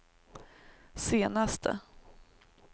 senaste